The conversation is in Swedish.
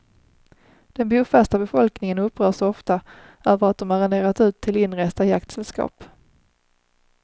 Den bofasta befolkningen upprörs ofta över att de arrenderat ut till inresta jaktsällskap.